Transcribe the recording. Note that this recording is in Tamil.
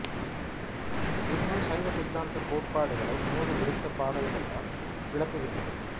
இந் நூல் சைவ சித்தாந்தக் கோட்பாடுகளை நூறு விருத்தப் பாடல்களால் விளக்குகின்றது